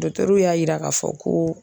y'a yira k'a fɔ koo.